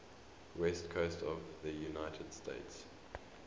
west coast of the united states